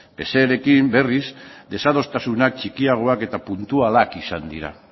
pserekin berriz desadostasuna txikiagoak eta puntualak izan dira